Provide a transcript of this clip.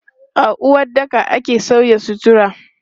A uwaɗɗaka ake sauya sutura.